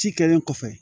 Ci kɛlen kɔfɛ